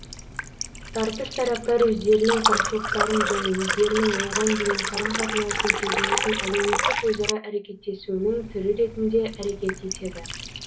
тартыс тараптар өздерінің қарсылықтарын және өздерінің оған деген қарым қатынасын сезінетін әлеуметтік өзара әрекеттесуінің түрі ретінде әрекет етеді